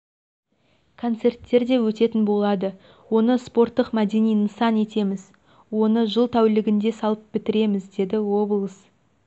концерттер деөтетін болады оны спорттық-мәдени нысан етеміз оны жыл тәулігінде салып бітіреміз деді облыс әк